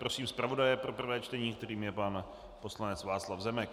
Prosím zpravodaje pro prvé čtení, kterým je pan poslanec Václav Zemek.